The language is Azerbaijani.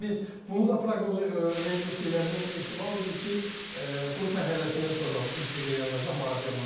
Biz bunu da proqnoz vermişdik və bu ehtimal idi ki, qrup mərhələsindən sonra intriqa yaranacaq, maraq yaranacaq.